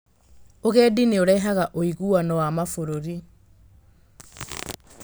Ũgendi nĩ ũrehaga ũiguano wa mabũrũri.